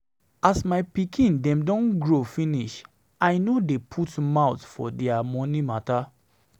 As my pikin dem don grow finish, I no dey put mouth for their moni mata.